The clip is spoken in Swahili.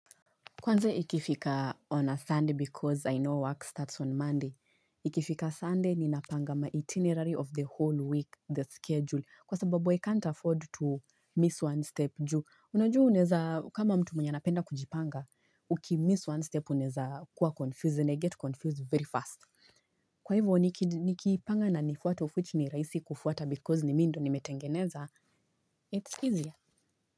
Kwanze ikifika on a Sunday because I know work starts on Monday. Ikifika Sunday, ninapanga maitinerary of the whole week, the schedule, kwa sababu I can't afford to miss one step ju Unajua unaeza kama mtu mwenye anapenda kujipanga, ukimiss one step uneza kuwa confused and I get confused very fast. Kwa hivyo, nikipanga na nifuate, of which ni rahisi kufuata because ni mimi ndo nimetengeneza, it's easier.